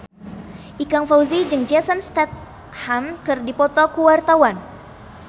Ikang Fawzi jeung Jason Statham keur dipoto ku wartawan